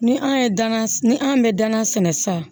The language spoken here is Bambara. Ni an ye dan ni an bɛ danan sɛnɛ sisan